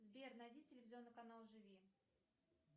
сбер найди телевизионный канал живи